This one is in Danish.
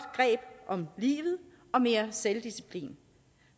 greb om livet og mere selvdisciplin